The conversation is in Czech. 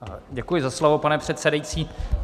Děkuji za slovo, pane předsedající.